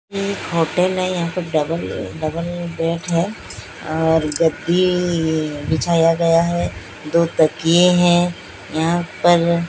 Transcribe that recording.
एक होटल हैं यहां पर डबल डबल बेड है और गद्दीई बिछाया गया है दो तकिए हैं यहां पर--